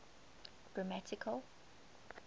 grammatical